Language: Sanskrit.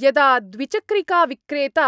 यदा द्विचक्रिकाविक्रेता